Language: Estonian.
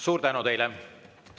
Suur tänu teile!